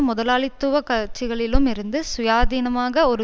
முதலாளித்துவ கட்சிகளிலும் இருந்து சுயாதீனமாக ஒரு